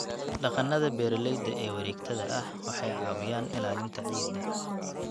Dhaqannada beeralayda ee wareegtada ah waxay caawiyaan ilaalinta ciidda.